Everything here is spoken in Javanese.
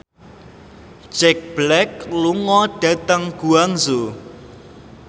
Jack Black lunga dhateng Guangzhou